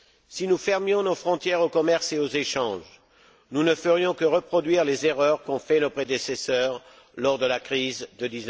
Si nous fermions nos frontières au commerce et aux échanges, nous ne ferions que reproduire les erreurs qu'ont faites nos prédécesseurs lors de la crise de